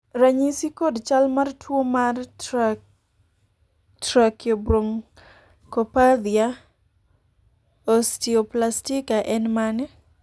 ranyisi kod chal mar tuo mar trakiobronchopathia osteoplastika en mane ?